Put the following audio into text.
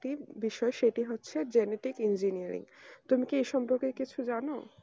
একটি বিষয় সেটি হচ্ছে genetic engineering তুমি কি এ সম্পর্কে কিছু জানো